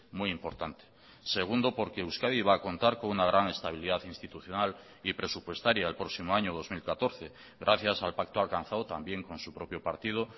muy importante segundo porque euskadi va a contar con una gran estabilidad institucional y presupuestaria el próximo año dos mil catorce gracias al pacto alcanzado también con su propio partido